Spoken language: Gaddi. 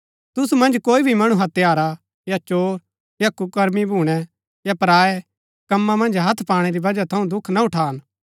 तुसु मन्ज कोई भी मणु हत्यारा या चोर या कुकर्मी भूणै या पराऐ कम्मा मन्ज हत्थ पाणै री वजह थऊँ दुख ना उठान